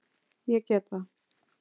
Ég get það.